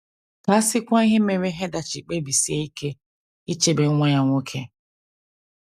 Ka a sịkwa ihe mere Heather ji kpebisie ike ichebe nwa ya nwoke!